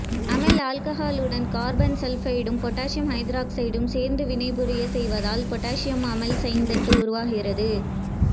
அமைல் ஆல்ககாலுடன் கார்பன் டைசல்பைடும் பொட்டாசியம் ஐதராக்சைடும் சேர்த்து வினைபுரியச் செய்வதால் பொட்டாசியம் அமைல் சேந்தேட்டு உருவாகிறது